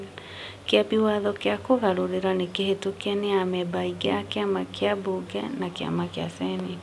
Kĩambi Watho kĩa Kũgarũrĩra nĩ kĩhĩtukie nĩ amemba aingĩ a Kĩama kĩambunge na Kĩama kĩa Senate